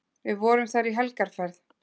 Við vorum þar í helgarferð.